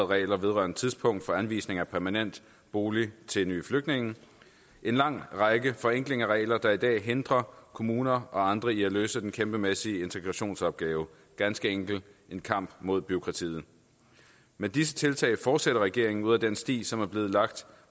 regler vedrørende tidspunkt for anvisning af permanent bolig til nye flygtninge en lang række forenklinger af regler der er i dag hindrer kommuner og andre i at løse den kæmpemæssige integrationsopgave ganske enkelt en kamp mod bureaukratiet med disse tiltag fortsætter regeringen ud ad den sti som er blevet lagt